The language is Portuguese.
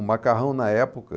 O macarrão na época...